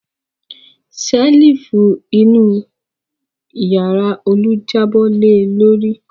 Ṣẹ́lífù inú ìyàrá Olú jábọ́ le lórí.